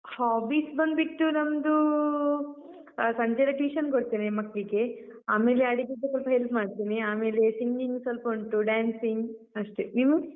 Hobbies ಬಂದ್ಬಿಟ್ಟು ನಮ್ದೂ, ಆ ಸಂಜೆಯೆಲ್ಲ tuition ಕೊಡ್ತೇನೆ ಮಕ್ಳಿಗೆ, ಆಮೇಲೆ ಅಡಿಗೆಗೆ ಸ್ವಲ್ಪ help ಮಾಡ್ತೇನೆ. ಆಮೇಲೆ singing ಸ್ವಲ್ಪ ಉಂಟು, dancing ಅಷ್ಟೇ, ನೀವು?